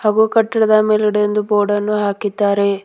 ವೋ ಕಟ್ಟಡದ ಮೇಲ್ಗಡೆ ಒಂದು ಬೋರ್ಡನ್ನು ಹಾಕಿದ್ದಾರೆ.